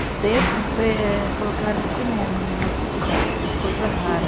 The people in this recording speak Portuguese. Um tempo colocaram cinema na nossa cidade, que era coisa rara.